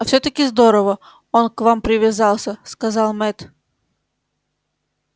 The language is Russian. а все таки здорово он к вам привязался сказал мэтт